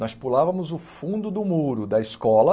Nós pulávamos o fundo do muro da escola